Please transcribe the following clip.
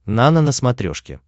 нано на смотрешке